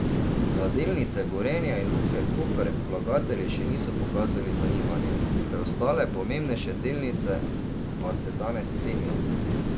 Za delnice Gorenja in Luke Koper vlagatelji še niso pokazali zanimanja, preostale pomembnejše delnice pa se danes cenijo.